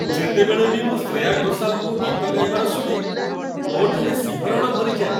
ଯେତେବେଳେ ବି ମୁଁ ଶ୍ରେୟା ଘୋଷାଲ୍‌ଙ୍କୁ ଗୀତ ଗାଇବାର ଶୁଣେ, ମୋଠାରେ ଶିହରଣ ଭରିଯାଏ।